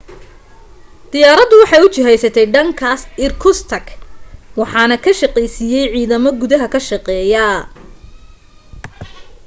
diyaaradu waxay u jihaysatay dhankaas irkutsk waxaana ka shaqeeysiiyay ciidamo gudaha ka shaqeeya